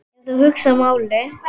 Ef þú hugsar málið.